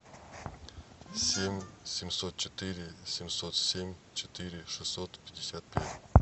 семь семьсот четыре семьсот семь четыре шестьсот пятьдесят пять